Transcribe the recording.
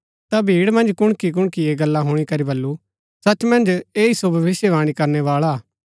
ता भीड़ मन्ज कुणकीकुणकी ऐह गल्ला हुणी करी वलु सच मन्ज ऐह सो भविष्‍यवाणी करणै बाळा हा